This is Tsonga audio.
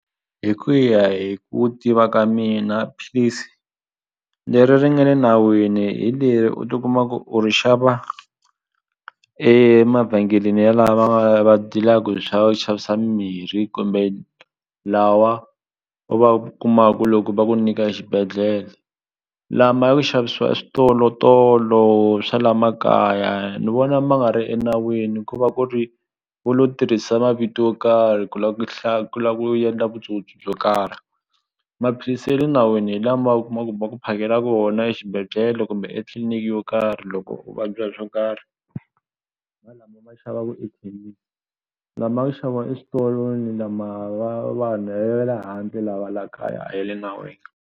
Hi ku ya hi ku tiva ka mina philisi leri ri nga le nawini hi leri u tikuma ku u ri xava emavhengeleni yalawa va va deal-aku hi swa ku xavisa mimirhi kumbe lawa va kuma ku loko va ku nyika exibedhlele lama ya ku xavisiwa eswitolotolo swa la makaya ni vona ma nga ri enawini ku va ku ri vo lo tirhisa mavito yo karhi ku la ku ku lava ku endla vutsotsi byo karhi maphilisi ya le nawini hi lama u kuma ku va ku phakela kona exibedhlele kumbe etliniki yo karhi loko u vabya hi swo karhi lama ma xavaku lama xaviwa eswitolo lama va vanhu ya le handle lawa la kaya a ya le nawini.